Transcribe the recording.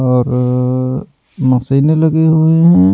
औरर मशीने लगी हुइ हैं।